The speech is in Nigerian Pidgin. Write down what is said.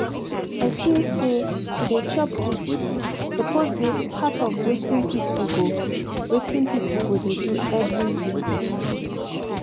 i feel say to dey chop good food suppose dey part of wetin people go wetin people go dey do every day